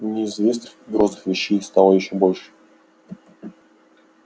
неизвестных и грозных вещей стало ещё больше